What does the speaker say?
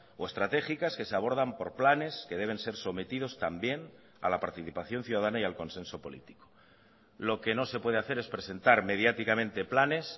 o estratégicas que se abordan por planes que deben ser sometidos también a la participación ciudadana y al consenso político lo que no se puede hacer es presentar mediáticamente planes